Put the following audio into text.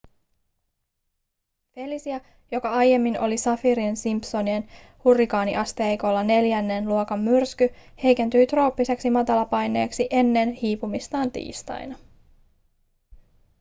felicia joka aiemmin oli saffirin-simpsonin hurrikaaniasteikolla neljännen luokan myrsky heikentyi trooppiseksi matalapaineeksi ennen hiipumistaan tiistaina